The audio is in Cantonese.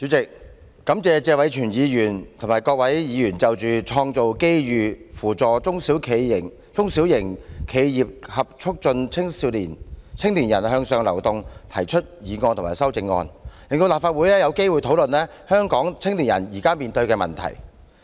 主席，感謝謝偉銓議員及各位議員就"創造機遇扶助中小型企業及促進青年人向上流動"提出議案及修正案，令立法會有機會討論香港青年人現時面對的問題。